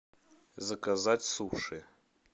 заказать суши